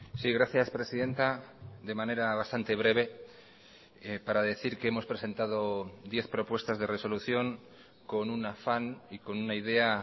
sí gracias presidenta de manera bastante breve para decir que hemos presentado diez propuestas de resolución con un afán y con una idea